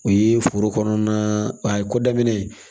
O ye foro kɔnɔna a ko daminɛ